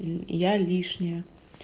ль я лишняя